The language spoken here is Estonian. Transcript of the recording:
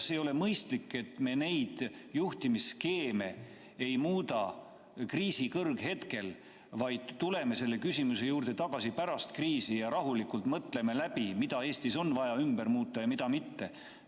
Kas ei ole mõistlik, et me neid juhtimisskeeme ei muuda kriisi kõrghetkel, vaid tuleme selle küsimuse juurde tagasi pärast kriisi ja mõtleme rahulikult läbi, mida Eestis on vaja muuta ja mida mitte?